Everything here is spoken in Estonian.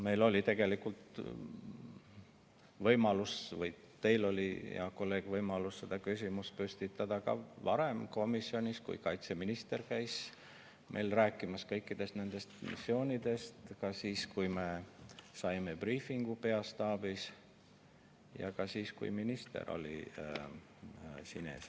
Meil oli tegelikult võimalus või teil oli, hea kolleeg, võimalus seda küsimust püstitada ka varem komisjonis, kui kaitseminister käis meile rääkimas kõikidest nendest funktsioonidest, ka siis, kui me saime briifi peastaabis, ja ka siis, kui minister oli siin ees.